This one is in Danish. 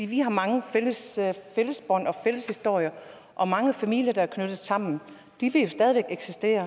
vi har mange fælles bånd og fælles historie og mange familier der er knyttet sammen de vil jo stadig væk eksistere